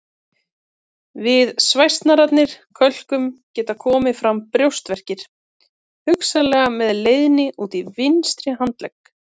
Við svæsnari kölkun geta komið fram brjóstverkir hugsanlega með leiðni út í vinstri handlegg.